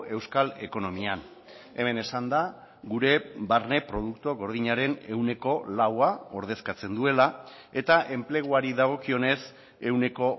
euskal ekonomian hemen esan da gure barne produktu gordinaren ehuneko laua ordezkatzen duela eta enpleguari dagokionez ehuneko